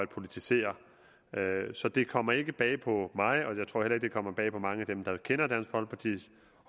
politiseret så det kommer ikke bag på mig og jeg tror heller ikke det kommer bag på mange af dem der kender dansk folkepartis